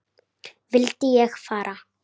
Vildi ég fara?